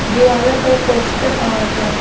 दीवालों पर पोस्टर और--